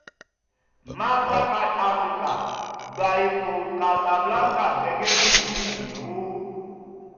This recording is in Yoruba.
mastercard africa gba ipò casablanca gẹ́gẹ́ bí ìlú ìnáwó